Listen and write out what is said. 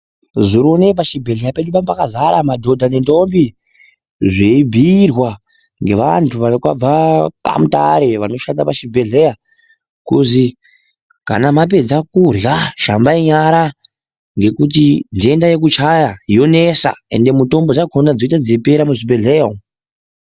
Zurone pechibhedlera pedu painge pakazara modhodha ne ntombi zviibhiyirwa ngevantu vakabva kwa Mutare vanoshanda pachibhedleya kuzi, kana mapedza kudla shambayi nyara ngekuti ntenda yekutshaya yonetsa ende mutombo yacho dzoite dzichipera muzvibhedleya umu.